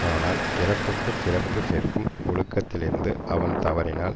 ஆனால் பிறப்புக்குச் சிறப்பு சேர்க்கும் ஒழுக்கத்திலிருந்து அவன் தவறினால்